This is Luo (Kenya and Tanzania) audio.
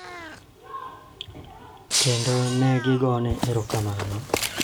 Kendo ne gigona erokamano.